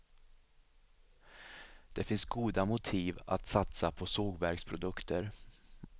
Det finns goda motiv att satsa på sågverksprodukter.